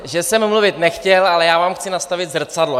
Že jsem mluvit nechtěl, ale já vám chci nastavit zrcadlo.